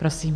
Prosím.